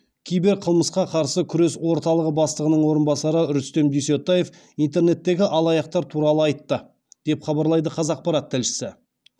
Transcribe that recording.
киберқылмысқа қарсы күрес орталығы бастығының орынбасары рүстем дүйсетаев интернеттегі алаяқтар туралы айтты деп хабарлайды қазақпарат тілшісі